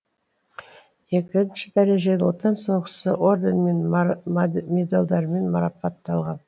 екінші дәрежелі отан соғысы орденімен медальдармен марапатталған